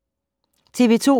TV 2